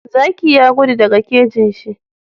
Zaki ya gudu daka kejinshi